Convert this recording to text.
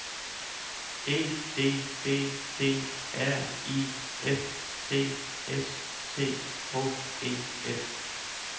E D B D R I F T S C H E F